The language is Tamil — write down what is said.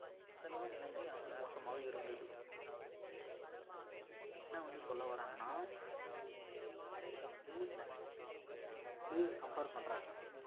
அந்த அளவு நிலமை அங்கு மோசமா இருந்தது அஹ் இவங்க வந்து என்ன வந்து சொல்ல வராங்கன்னா ஹம் அமெரிக்கா வந்து இந்த கனடாவோட compare பண்றாங்க